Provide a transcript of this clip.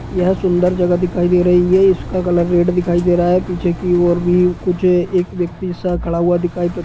यह सुंदर जगह दिखाई दे रही है| इसका कलर रेड दिखाई दे रहा है| पीछे की और भी कुछ एक व्यक्ति सा खड़ा हुआ दिखाई पड़--